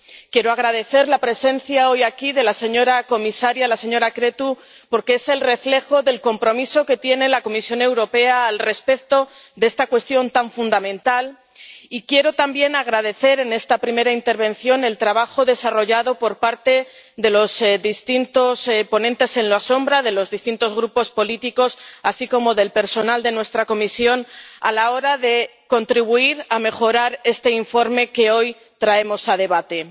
Quiero agradecer la presencia hoy aquí de la señora comisaria, la señora Crețu, porque es el reflejo del compromiso que tiene la Comisión Europea respecto de esta cuestión tan fundamental, y quiero también agradecer, en esta primera intervención, el trabajo desarrollado por parte de los distintos ponentes alternativos, de los distintos grupos políticos, así como del personal de nuestra comisión, a la hora de contribuir a mejorar este informe que hoy traemos a debate.